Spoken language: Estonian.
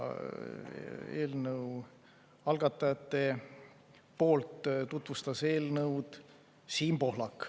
Eelnõu algatajate poolt tutvustas eelnõu Siim Pohlak.